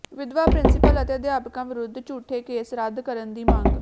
ਵਿਧਵਾ ਪ੍ਰਿੰਸੀਪਲ ਅਤੇ ਅਧਿਆਪਕਾਂ ਵਿਰੁੱਧ ਝੂਠੇ ਕੇਸ ਰੱਦ ਕਰਨ ਦੀ ਮੰਗ